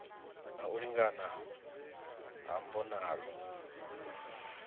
na u lingana ha mbonalo